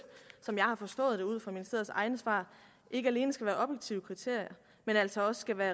har forstået ud fra ministeriets egne svar ikke alene skal være objektive kriterier men altså også skal være